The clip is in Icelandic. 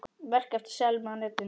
Verk eftir Selmu á netinu